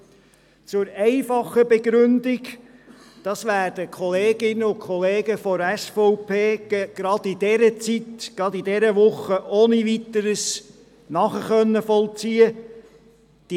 Zuerst zur einfachen Begründung, welche die Kolleginnen und Kollegen von der SVP gerade in dieser Woche, in dieser Zeit, ohne Weiteres nachvollziehen können.